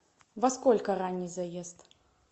во сколько ранний заезд